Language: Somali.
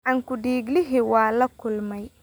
Gacan ku dhiiglihii waa la kulmay